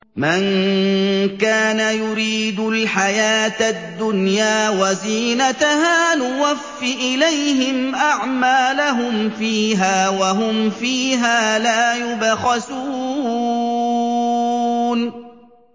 مَن كَانَ يُرِيدُ الْحَيَاةَ الدُّنْيَا وَزِينَتَهَا نُوَفِّ إِلَيْهِمْ أَعْمَالَهُمْ فِيهَا وَهُمْ فِيهَا لَا يُبْخَسُونَ